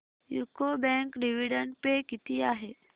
UCO bank dividend pay किती आहे